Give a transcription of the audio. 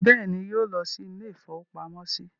Bẹ́ẹ̀ ni, yóò lọ́ ilé-ìfowópamọ́sí.